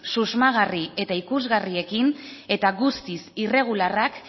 susmagarri eta ikusgarriekin eta guztiz irregularrak